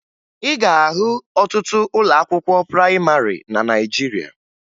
Ị ga-ahụ ọtụtụ ụlọ akwụkwọ prayịmarị na Naịjirịa